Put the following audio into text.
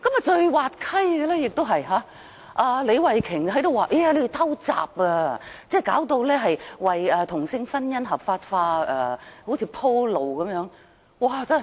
最滑稽的是李慧琼議員說我們"偷襲"，好像要為同性婚姻合法化"鋪路"般。